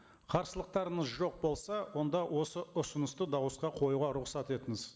қарсылықтарыңыз жоқ болса онда осы ұсынысты дауысқа қоюға рұқсат етіңіз